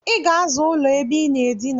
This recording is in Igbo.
Iga aza ụlọ ebe inaa edina!